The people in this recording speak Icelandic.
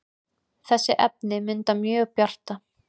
þessi efni mynda mjög bjarta